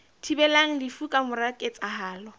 thibelang lefu ka mora ketsahalo